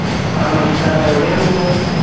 ആ നമസ്കാരം എവിടെയാ ഇള്ളത്